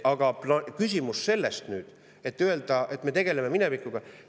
Aga öelda, et me tegeleme minevikuga …